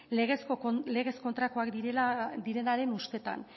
legez kontrakoak direnaren ustetan